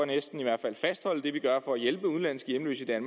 næsten i hvert fald fastholde det vi gør for at hjælpe udenlandske hjemløse i